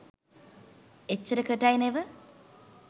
එච්චරකටයි නෙව